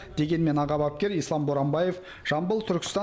дегенмен аға бапкер ислам боранбаев жамбыл түркістан